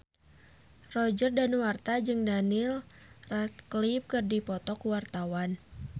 Roger Danuarta jeung Daniel Radcliffe keur dipoto ku wartawan